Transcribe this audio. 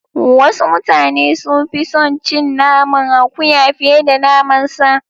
Wasu mutane sun fi son cin naman akuya fiye da naman sa.